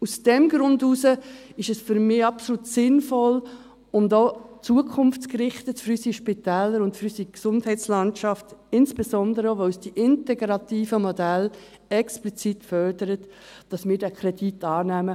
Aus diesem Grund ist es für mich absolut sinnvoll und auch zukunftsgerichtet für unsere Spitäler und für unsere Gesundheitslandschaft, insbesondere, weil es die integrativen Modelle explizit fördert, dass wir diesen Kredit annehmen.